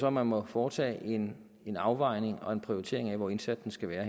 at man må foretage en en afvejning og en prioritering af hvor indsatsen skal være